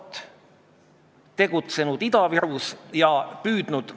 Me olime nõus sellega, et probleem on olemas – ma arvan, me oleme kõik sellega nõus.